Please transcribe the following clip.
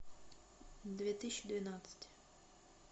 две тысячи двенадцать